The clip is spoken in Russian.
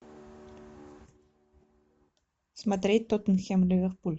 смотреть тоттенхэм ливерпуль